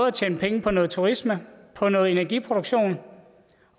at tjene penge på noget turisme på noget energiproduktion